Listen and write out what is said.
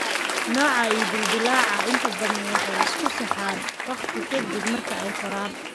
Nooca I dildilaaca inta badan waxay isku saxaan waqti ka dib marka ay koraan.